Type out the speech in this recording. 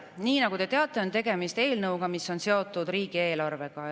Nii nagu te teate, on tegemist eelnõuga, mis on seotud riigieelarvega.